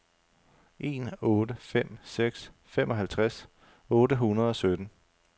en otte fem seks femoghalvtreds otte hundrede og sytten